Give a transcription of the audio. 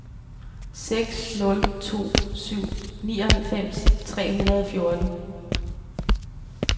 seks nul to syv nioghalvfems tre hundrede og fjorten